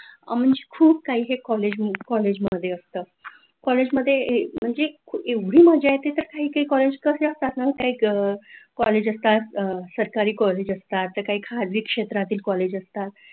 आणि खूप काही कॉलेजमध्ये असतं, कॉलेजमध्ये म्हणजे एवढी मजा येते की काय काय कॉलेज कसे असतात ना की काय काय जास्त सरकार कॉलेज असतात, तर काय खाजगी क्षेत्रातले कॉलेज असतात.